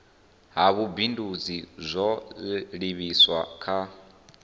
ha vhubindudzi zwo livhiswa kha